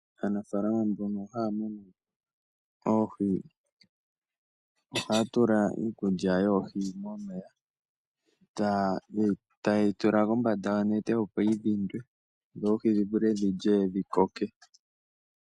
Aanafaalama mbono haya munu oohi ohaya tula iikulya yoohi momeya taye yi tula kombanda yonete opo yidhindwe dho oohi dhivule dhilye dhikoke.